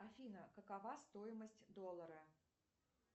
афина какова стоимость доллара